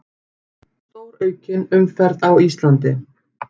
Stóraukin umferð um Ísland